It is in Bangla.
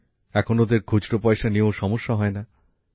এখন ওদের খুচরো পয়সা নিয়েও সমস্যা হয় না